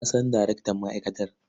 Na san darektan ma'aikatar.